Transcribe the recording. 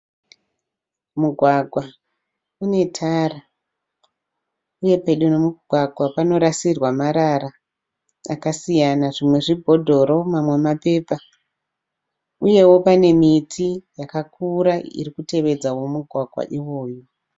Mugwagwa une tara. Uye pedo nemugwagwa panorasirwa marara akasiyana zvimwe zvibhodhoro manwe mapepa. Uyewo pane miti yakakura iri kutevedzawo mugwagwa iwowo.